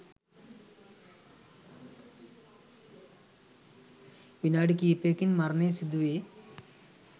විනාඩි කිහිපයකින් මරණය සිදුවේ.